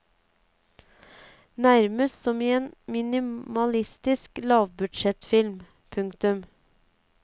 Nærmest som i en minimalistisk lavbudsjettfilm. punktum